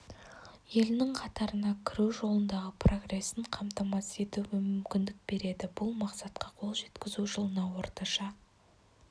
елінің қатарына кіру жолындағы прогресін қамтамасыз етуге мүмкіндік береді бұл мақсатқа қол жеткізу жылына орташа